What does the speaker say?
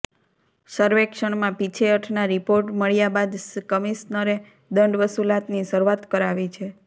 સર્વેક્ષણમાં પીછેહઠ ના રીપોર્ટ મળ્યા બાદ કમીશ્નરે દંડ વસુલાતની શરૂઆત કરાવી છે